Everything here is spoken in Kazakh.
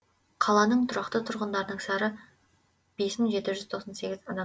қаланың тұрақты тұрғындарының сары бес мың жеті жүз тоқсан сегіз адам